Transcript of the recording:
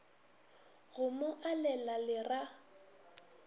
go mo alela le ra